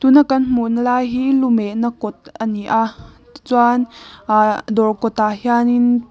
na kan hmuhna lai hi luhmehna kawt ania chuan ahh dawr kawtah hianin--